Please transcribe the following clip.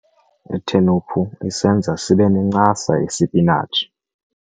Itheniphu isenza sibe nencasa isipinatshi.